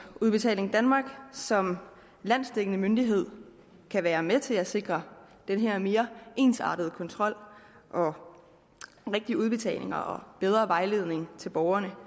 udbetaling danmark som landsdækkende myndighed kan være med til at sikre den her mere ensartede kontrol og rigtige udbetalinger og bedre vejledning til borgerne